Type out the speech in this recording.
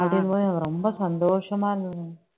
அப்படிங்கும்போது எனக்கு ரொம்ப சந்தோஷமா இருந்